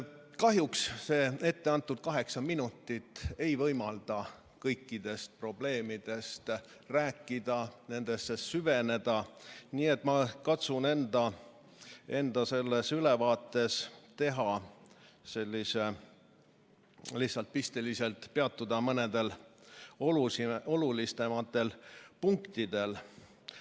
Kahjuks mulle etteantud kaheksa minutit ei võimalda kõikidest probleemidest rääkida ja nendesse süveneda, nii et ma katsun enda ülevaates pisteliselt peatuda lihtsalt mõnel olulisemal punktil.